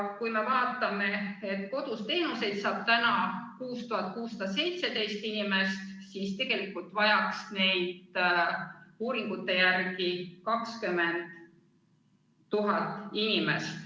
Koduseid teenuseid saab praegu 6617 inimest, aga tegelikult vajaks neid uuringute järgi 20 000 inimest.